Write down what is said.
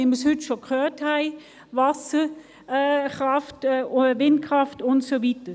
Wir haben es heute schon gehört, es geht um Wasserkraft, Windkraft, und so weiter.